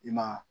I ma